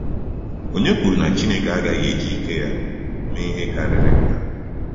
Ònye kwuru na Chineke agaghị eji ike ya mee ihe karịrị nke a?